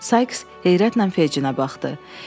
Sayks heyrətlə Fecinə baxdı.